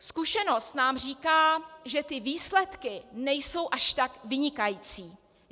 Zkušenost nám říká, že ty výsledky nejsou až tak vynikající.